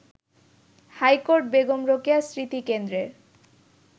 high court Begum Rokeya স্মৃতিকেন্দ্রের